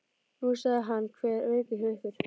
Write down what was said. Nú, sagði hann, hver er veikur hjá ykkur?